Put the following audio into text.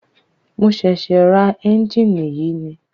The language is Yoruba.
Mo ṣẹ̀ṣẹ̀ ra ẹ́njìnì yìí ni.